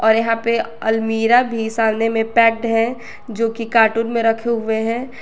और यहां पे अलमीरा भी सामने में पैक्ड है जो की कार्टून में रखे हुए हैं।